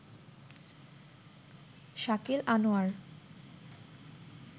Shakil Anwar